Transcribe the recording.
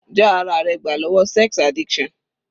Já ara rẹ gbà lọ́wọ́ sex addiction.